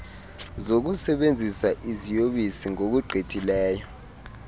zokusebenzisa iziyobisi ngokugqithisileyo